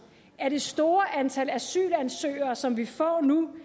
at det store antal asylansøgere som vi får nu